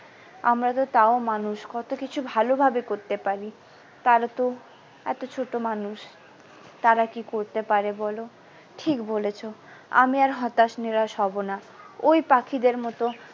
আমরা তো তাও মানুষ কত কিছু ভালো ভাবে করতে পারি তারা তো এত ছোটো মানুষ তারা কি করতে পারে বলো ঠিক বলেছো আমি আর হতাশ নিরাশ হব না ওই পাখিদের মতো।